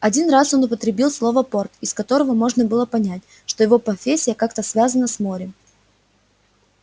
один раз он употребил слово порт из которого можно было понять что его профессия как-то связана с морем